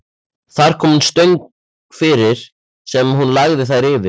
Þar kom hún fyrir stöng sem hún lagði þær yfir.